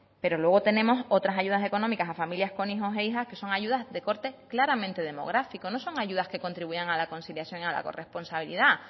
pero luego tenemos otras ayudas económicas para familias con hijos e hijas que son ayudas de corte claramente demográficos no son ayudas que contribuyan a la conciliación y a la corresponsabilidad